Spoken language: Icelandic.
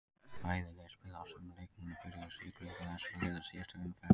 Bæði lið spiluðu á sömu leikmönnum og byrjuðu í sigurleikjum þessara liða í síðustu umferð.